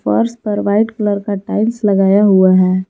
फर्श पर white colour का टाइल्स लगाया हुआ है।